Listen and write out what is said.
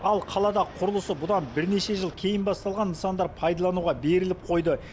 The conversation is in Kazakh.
ал қалада құрылысы бұдан бірнеше жыл кейін басталған нысандар пайдаланылуға беріліп қойды